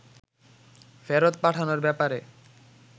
ফেরত পাঠানোর ব্যাপারে